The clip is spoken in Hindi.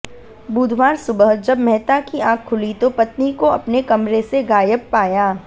बुधवार सुबह जब मेहता की आंख खुली तो पत्नी को अपने कमरे से गायब पाया